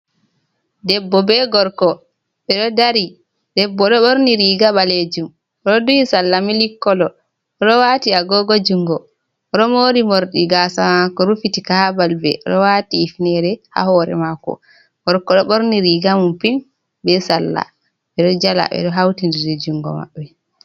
Debbo be gorko ɓeɗo dari debbo ɗo ɓorni riga ɓalejum oɗo duyi salla mili kolo oɗo wati agogo jungo oɗo mori morɗi gasa mako rufiti ka ha balbe oɗo wati hufnere ha hore mako, gorko ɗo ɓorni riga mako pin be sallah ɓeɗo jala ɓeɗo hautindiri jungo maɓɓe.